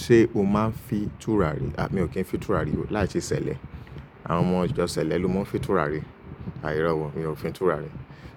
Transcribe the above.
Ṣé o máa ń fi tùràrí? A! Mi ò kí ń fin tùràrí o. Láìṣe ṣẹlẹ. Àwọn ọmọ ìjọ ṣẹlẹ ló máa ń fin tùràrí. Àh irọ̀ o, mi ò fi tùràrí.